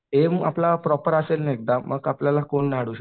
M आपला proper असेल ना एकदा मग आपल्याला कोण नाही अडवू शकत.